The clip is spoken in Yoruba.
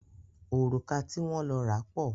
Òrùka ti wọ́n lọ ra pọ̀.